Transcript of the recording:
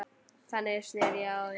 Þannig sneri ég á þá.